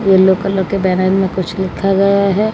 Yellow colour के में कुछ लिखा गया है।